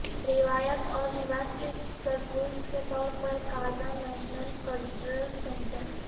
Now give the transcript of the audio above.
روایات اور رواج کے سرپرست کے طور پر قازان نیشنل کلچرل سنٹر